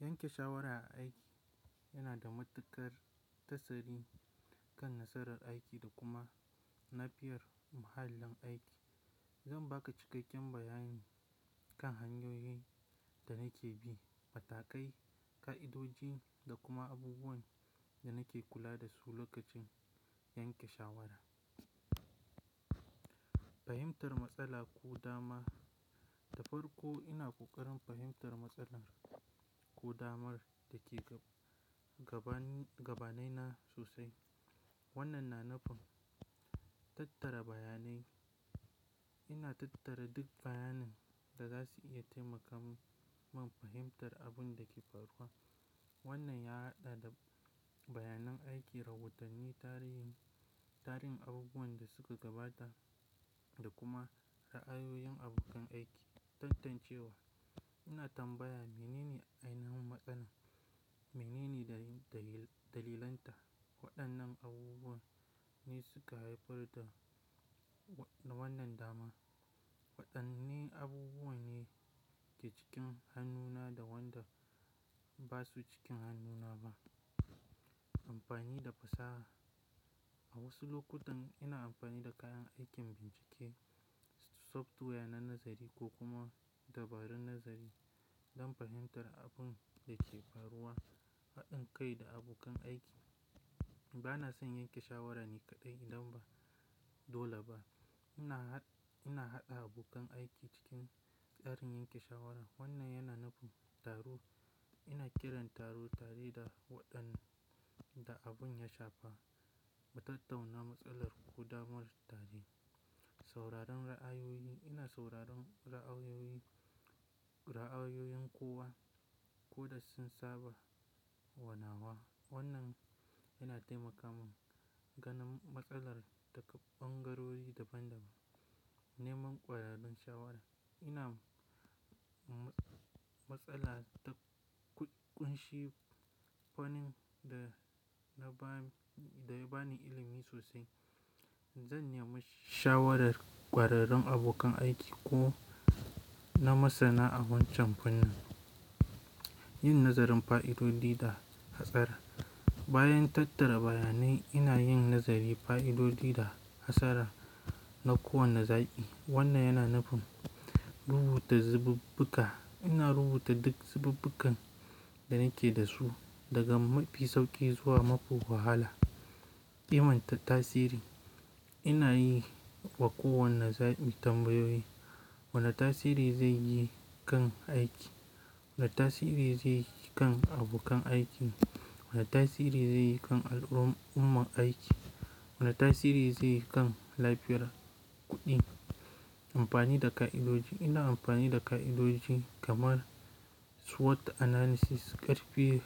Yanke shawara a aiki, yana da matuƙar tasiri kan nasarar aiki da kuma na biyar muhallin aiki. Zan ba ka cikakken bayani kan hanyoyin da nake bi, matakai, ƙa'idoji da kuma abubuwan da nake kula da su lokacin yanke shawara. Fahimtar matsala ko dama, da farko ina ƙoƙarin fahimtar matsalar, ko damar da ke gaba, gabanaina sosai. Wannan na nufin tattara bayanai. Ina tattara duk bayanin, da za su iya taimaka mun fahimtar abun da ke faruwa. Wannan ya haɗa da bayanan aiki, rubutanni, tarihin abubuwan da suka gabata da kuma ra'ayoyin abokan aiki. Tantancewa, ina tambaya menene ainihin matsalar? Menene dalilanta? Waɗannan abubuwan ne suka haifar da wannan dama? Waɗanne abubuwa ne ke cikin hannuna da wanda ba su cikin hannuna ba? Amfani da fasaha, a wasu lokutan ina amfani da kayan aikin bincike, software na nazari ko kuma dabarun nazari don fahimtar abun da ke faruwa. Haɗin kai da abokan aiki, bana son yanke shawara ni kaɗai idan ba dole ba. Ina haɗa abokan aiki cikin tsarin yanke shawara. Wannan yana nufin taro. Ina kiran taro, tare da waɗanda abun ya shafa mu tattauna matsalar ƙo damar tare. Sauraron ra'ayoyi, ina sauraron ra'ayoyi, ra'ayoyin kowa. Ko da sun saba wa nawa. Wannan yana taimaka mun gane matsalar daga ɓangarori daban-daban. Neman ƙwararrun shawara, ina matsala ta ƙunshi fannin da na ba ni, da ba ni ilimi sosai. Zan nemi shawarar ƙwararrun abokan aiki ko na masana a wancan fannin. Yin nazarin fa'idodi da hatsari, bayan tattara bayanai ina yin nazarin fa'idodi da hatsara na kowane zaɓi. Wannan yana nufin rubuta zububbuga. Ina rubuta duk zububbugan da nake da su, daga mafi sauƙi zuwa mafi wahala. Ƙimantar tasiri, ina yi wa kowane zaɓi tambayoyi. Wane tasiri zai yi kan aiki? Wane tasiri zai yi kan abokan aiki? Wane tasiri zai yi kan al'ummar aiki? Wane tasiri zai yi kan lafiyar kuɗi? Amfani da ƙa'idoji, ina amfani da ƙa'idoji kamar SWOT analysis, hpl,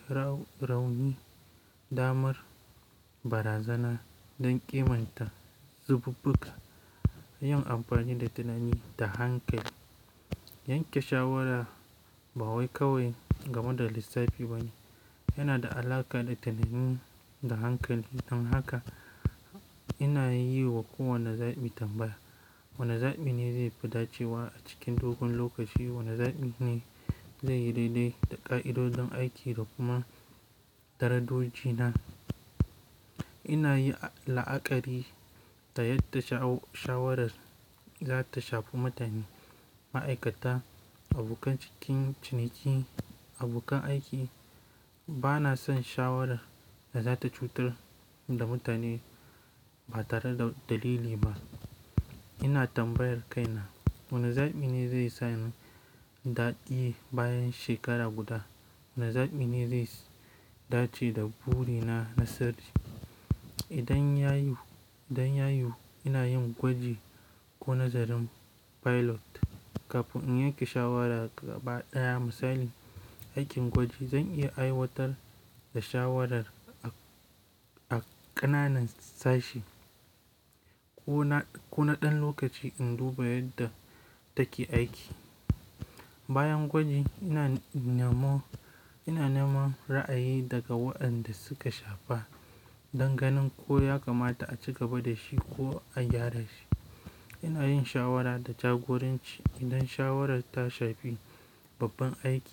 rauni, damar, barazana don ƙimanta zububbuga. Yin amfani da tunani da hankali, yanke shawara ba wai kawai game da lissafi ba ne. Yana da alaƙa da tunani da hankali. Don haka ina yi wa kowane zaɓi tambaya. Wane zaɓi ne zai fi dacewa a cikin dogon lokaci? Wane zaɓi ne zai yi daidai da ƙa'idodin aiki da kuma darajoji na? Ina yi la'akari ta yadda shawarar za ta shafi mutane, ma'aikata, abokan ciniki, abokan aiki. Bana son shawara da za ta cutar da mutane ba tare da dalili ba. Ina tambayar kaina wane zaɓi ne zai samu daɗi bayan shekara guda. Wane zaɓi ne zai dace da buri na na sirri? Idan ya yiwu, idan ya yiwu ina yin gwaji ko nazarin pilot kafin in yanke shawara gaba ɗaya. Misali, aikin gwaji zan iya aiwatar da shawaran, a ƙananan sashi ko na ɗan lokaci in duba yadda take aiki. Bayan gwaji ina nemo, ina neman ra'ayi daga waɗanda suka shafa don ganin ko ya kamata a ci gaba da shi ko a gyara shi. Ina yin shawara da jagoranci idan shawara ta shafi babban aiki.